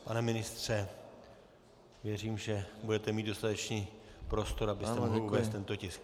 Pane ministře, věřím, že budete mít dostatečný prostor, abyste mohl uvést tento tisk.